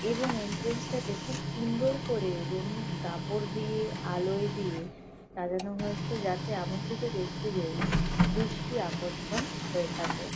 এবং এন্ট্রেন্স -টাকে খুব সুন্দর করে রঙিন কাপড় দিয়ে আলোয় দিয়ে সাজানো হয়েছে। যাতে আমন্ত্রিত ব্যাক্তিদের দৃষ্টি আকর্ষণ হয়ে থাকে।